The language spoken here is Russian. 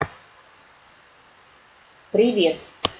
привет